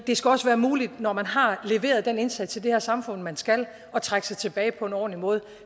skal også være muligt når man har leveret den indsats i det her samfund man skal at trække sig tilbage på en ordentlig måde